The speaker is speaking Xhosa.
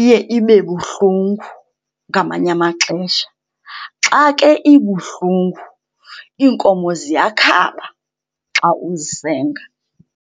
iye ibe buhlungu ngamanye amaxesha. Xa ke ibuhlungu iinkomo ziyakhaba xa uzisenga.